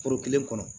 Foro kelen kɔnɔ